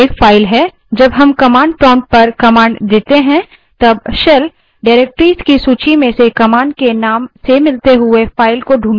जब हम command prompt पर command देते हैं तब shell directories की सूची में से command के name से मिलती हुई file को ढूँढता है